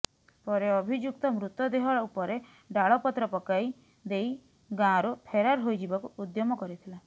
ପରେ ଅଭିଯୁକ୍ତ ମୃତଦେହ ଉପରେ ଡାଳ ପତ୍ର ପକାଇ ଦେଇ ଦେଇ ଗାଁରୁ ଫେରାର ହୋଇଯିବାକୁ ଉଦ୍ୟମ କରିଥିଲା